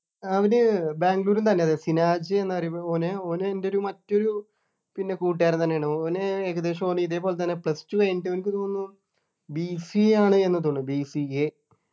അവര് ബാംഗ്ലൂർ തന്നെ സിനാജ് എന്ന് പറയും ഓന് ഓന് എൻ്റെഒരു മറ്റൊരു പിന്നെ കൂട്ടുകാരൻ തന്നെയാണ് ഓന് ഏകദേശം ഓന് ഇതേപോലെതന്നെ plus two കഴിഞ്ഞിട്ട് എനിക്ക് തോന്നുന്നു BCA ആണ് എന്ന് തോന്നുന്നു BCA